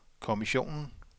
kommissionen